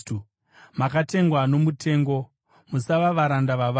Makatengwa nomutengo; musava varanda vavanhu.